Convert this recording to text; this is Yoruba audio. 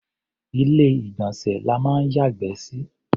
Ilé-ìgbọ̀nsẹ̀ la máa ń yàgbẹ́ sí.